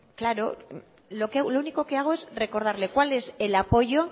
claro lo único que hago es recordarle cuál es el apoyo